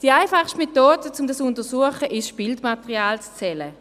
Die einfachste Methode, um dies zu untersuchen, ist, das Bildermaterial zu zählen.